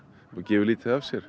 og gefur lítið af sér